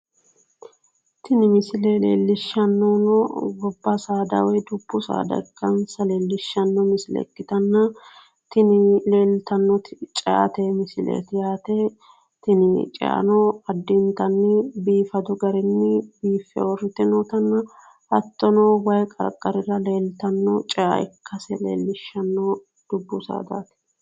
tini misile leellishshannonohuno dubbu saadaati ikkansa leellishanno misile ikkitanno ceate misileeti yaate tini ceano biifadu garinni biiffe uurrite nootanna hattono wayi qarqarira afantanno cea ikkase leellishshanno.